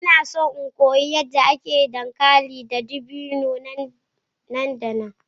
Ina so in koyi yadda ake yin dankali mai dadi da dabino nan da nan.